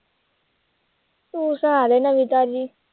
ਤੂੰ ਸੁਣਾ ਦੇ ਨਵੀਂ ਤਾਜ਼ੀ।